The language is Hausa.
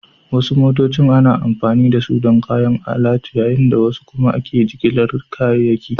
Wasu motocin ana amfani da su don kayan alatu yayin da wasu kuma ake jigilar kayayyaki